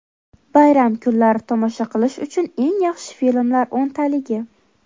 Bayram kunlari tomosha qilish uchun eng yaxshi filmlar o‘ntaligi.